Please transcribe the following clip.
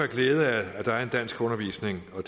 glæde af at der er en danskundervisning og